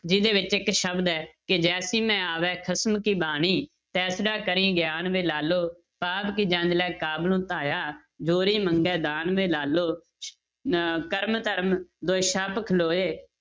ਜਿਹਦੇ ਵਿੱਚ ਇੱਕ ਸ਼ਬਦ ਹੈ ਕਿ ਜੈਸੀ ਮੈਂ ਆਵੈ ਖਸਮ ਕੀ ਬਾਣੀ ਤੈਸੜਾ ਕਰੀ ਗਿਆਨ ਵੇ ਲਾਲੋ, ਪਾਪ ਕੀ ਜੰਞ ਲੈ ਕਾਬਲਹੁ ਧਾਇਆ ਜੋਰੀ ਮੰਗੈ ਦਾਨ ਵੇ ਲਾਲੋ ਅਹ ਕਰਮ ਧਰਮ ਦੁਇ ਛਪਿ ਖਲੋਏ